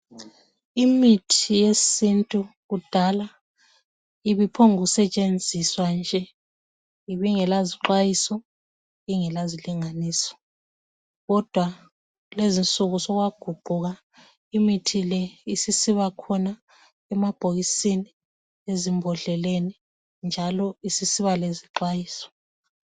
Imithi yesintu kudala ibiphongu setshenziswa nje ,ibingela zixhwayiso ,ingela zilinganiso .Kodwa kulezinsuku sokwaguquka imithi le isisiba khona emabhokisini lezimbodleleni. Njalo isisiba lezixhwayiso.